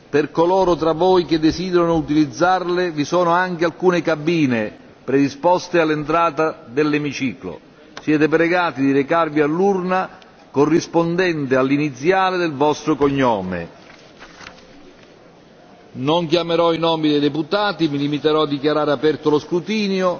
Per coloro tra voi che desiderano utilizzarle, vi sono anche alcune cabine predisposte all'entrata dell'emiciclo. Siete pregati di recarvi all'urna corrispondente all'iniziale del vostro cognome. Non chiamerò i nomi dei deputati, mi limiterò a dichiarare aperto lo scrutinio.